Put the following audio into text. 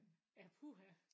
Ja puha